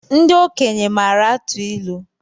Ndị okenye maara atụ ilu